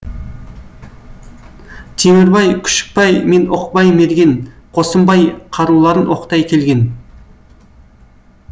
темірбай күшікбай мен оқбай мерген қосымбай қаруларын оқтай келген